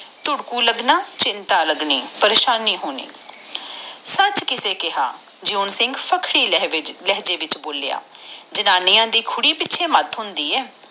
ਤੁਰਦਕੁ ਲਗਨ ਚਿੰਤਾ ਲਗਨਿ ਪਰੇਸ਼ਾਨੀ ਹੋਣੀ ਸੱਚ ਕਿਸੇ ਨੇ ਬੋਲਿਯਤਾ ਜਿਉਂ ਸਿੰਘ ਸਖਤੀ ਲਹਿਜੇ ਵਿਕਸਹ ਬੋਲਿਆ ਜਨਾਨੀਆਂ ਦੇ ਪਿੱਛੇ ਮੈਟ ਹੁੰਦੇ ਆ